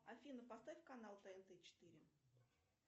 афина поставь канал тнт четыре